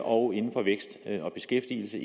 og inden for vækst og beskæftigelse